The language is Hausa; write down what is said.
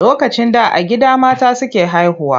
Lokacin da a gida mata suke haihuwa.